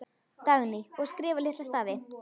Dagný: Og skrifa litla stafi.